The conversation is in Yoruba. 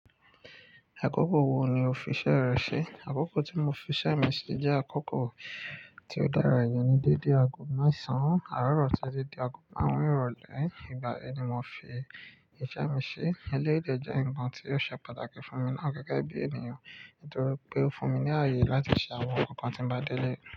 Àkókò wo ni o fi iṣẹ́ rẹ ṣe? Àkókò tí mo fi iṣẹ́ mi ṣi jẹ́ àkókò tí ó dára, ìyẹn ni dédé aago mẹ́sàn án, àárọ̀ titi dé aago márùn-ún ìrọ̀lẹ́. Ìgbà yẹn ni mò fi iṣẹ́ mi ṣe. Eléyìí dè jẹ́ nǹkan tí ó ṣe pàtàkì fún mi náà gẹ́gẹ́ bí ènìyàn, torí pé ó fún mi ní ààyè láti ṣe àwọn nǹkan kàn tí n bá délé.